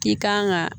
I kan ka